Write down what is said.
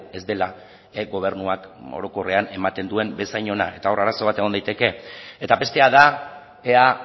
ez dela gobernuak orokorrean ematen duen bezain ona eta hor arazo bat egon daiteke eta bestea da ea